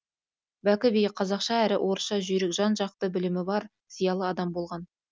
бәкі би қазақша әрі орысша жүйрік жан жақты білімі бар зиялы адам болған